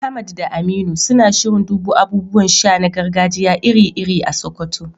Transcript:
Ahmad da Aminu suna shirin dubo abubuwan sha na gargajiya iri-iri a Sokoto